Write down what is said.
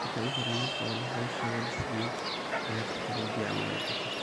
marka iyago nadif oho howshoda lasameye aya dadka logeya ama lacaba.